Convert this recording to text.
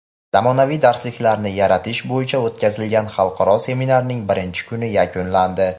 Zamonaviy darsliklarni yaratish bo‘yicha o‘tkazilgan xalqaro seminarning birinchi kuni yakunlandi.